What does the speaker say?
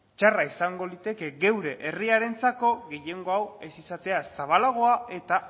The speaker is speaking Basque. txarra izango liteke geure herriarentzako gehiengo hau ez izatea zabalagoa eta